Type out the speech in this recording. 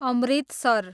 Amritsar